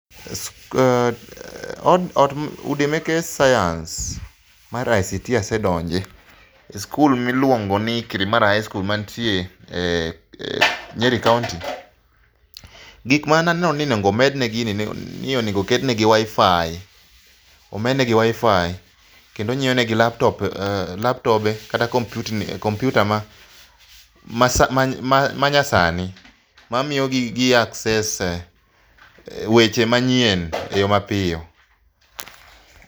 Eeeh, ot, udi meke sayans mar ICT asedonje e skul miluongo ni Kirimara high school mantie Nyeri kaunti. Gik mane aneno ni onego omedne gini naneno ni onego oketnegi Wifi, omednegi wifi keto onyiew negi laptop, laptobe kata onyiew negi kompyuta manyasani mamiyo gi gi access weche manyien eyoo mapiyo